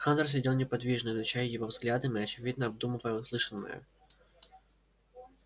хантер сидел неподвижно изучая его взглядом и очевидно обдумывая услышанное